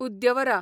उद्यवरा